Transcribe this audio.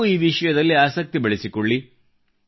ನೀವೂ ಈ ವಿಷಯದಲ್ಲಿ ಆಸಕ್ತಿ ಬೆಳೆಸಿಕೊಳ್ಳಿ